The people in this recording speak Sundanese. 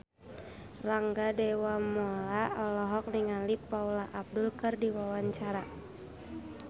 Rangga Dewamoela olohok ningali Paula Abdul keur diwawancara